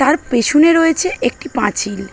তার পেছনে রয়েছে একটি পাঁচিল।